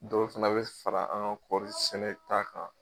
Dɔw fana bɛ fara an ka kɔɔri sɛnɛ ta kan.